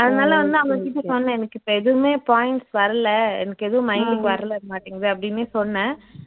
அதனால வந்து அவங்ககிட்ட சொன்னேன் எனக்கு இப்போ எதுவுமே points வரல எனக்கு எதுவும் mind க்கு வரவே மாட்டேங்குது அப்படின்னு சொன்னேன்